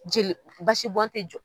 Jeli basi bɔ tɛ jɔ